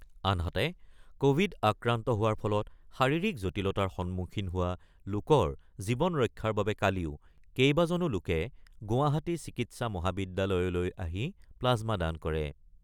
আনহাতে ক'ভিড আক্ৰান্ত হোৱাৰ ফলত শাৰীৰিক জটিলতাৰ সন্মুখীন হোৱা লোকৰ জীৱন ৰক্ষাৰ বাবে কালিও কেইবাজনো লোকে গুৱাহাটী চিকিৎসা মহাবিদ্যালয়লৈ আহি প্লাজমা দান কৰে।